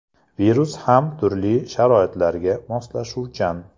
Virus ham turli sharoitlarga moslashuvchan.